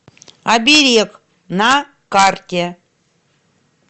оберег на карте